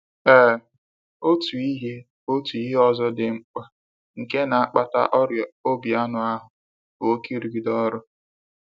Ee, otu ihe otu ihe ọzọ dị mkpa nke na akpata ọrịa obi anụ ahụ bụ oke irugide ọrụ.